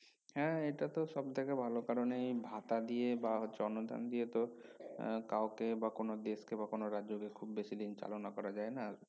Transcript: হ্যা এটা তো সব থেকে ভালো কারন এই ভাতা দিয়ে বা হচ্ছে অনুদান দিয়ে তো এর কাউকে বা কোনো দেশকে বা কোনো রাজ্যকে খুব বেশি দিন চালনা করা যায় না